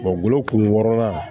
kun wɔɔrɔnan